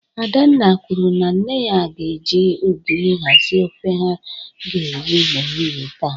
Adanna kwuru na nne ya ga-eji ogiri hazi ofe ha ga-eri n'ehihie taa